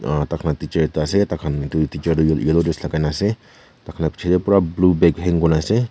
aa ta khan teacher ekta ase ta khan etu dikha tu yellow dress lagai ke na ase ta khan la picche teh pura blue bag hang kuri na ase.